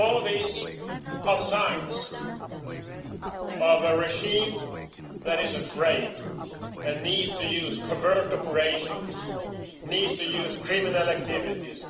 All these are signs of a regime that is afraid and needs to use covert operations, needs to use criminal activities.